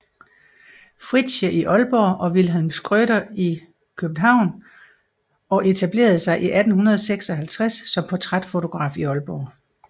Fritsche i Aalborg og Wilhelm Schrøder i København og etablerede sig i 1856 som portrætfotograf i Aalborg